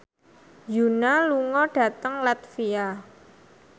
Yoona lunga dhateng latvia